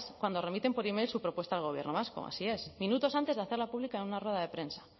cuando remiten por email su propuesta al gobierno vasco así es minutos antes de hacerla pública en una rueda de prensa